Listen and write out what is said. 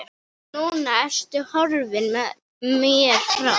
Núna ertu horfin mér frá.